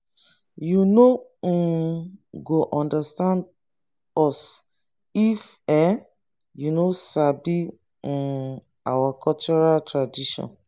you no um go understand us if um you no sabi um our cultural tradition.